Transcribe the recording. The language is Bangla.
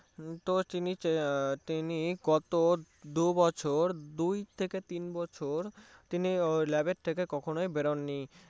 তো তিনি তিনি গত দুবছর দুই থেকে তিন বছর তিনি কখনো lab থেকে বের হননি